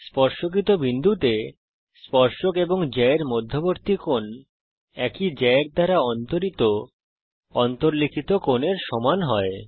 স্পর্শকিত বিন্দুতে স্পর্শক এবং জ্যা এর মধ্যবর্তী কোণ একই জ্যা এর দ্বারা অন্তরিত অন্তর্লিখিত কোণের সমান হয়